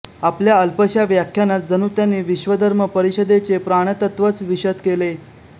आपल्या अल्पशा व्याख्यानात जणू त्यांनी विश्वधर्म परिषदेचे प्राणतत्त्वच विशद केले